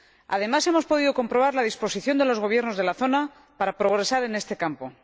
Además, hemos podido comprobar la disposición de los gobiernos de la zona para progresar en este campo.